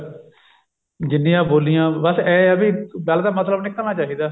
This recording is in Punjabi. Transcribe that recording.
ਜਿੰਨੀਆਂ ਬੋਲੀਆਂ ਬੱਸ ਏਂ ਹੈ ਵੀ ਗੱਲ ਦਾ ਮਤਲਬ ਨਿਕਲਣਾ ਚਾਹੀਦਾ